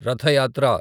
రథ యాత్ర